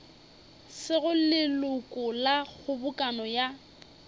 sego leloko la kgobokano ya